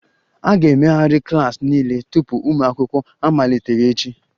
A ga-emegharị klas niile tupu ụmụ akwụkwọ amaliteghachi